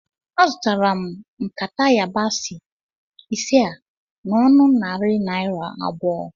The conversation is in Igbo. Azụtara m nkata yabasị ise a n'ọnụ narị naira abụọ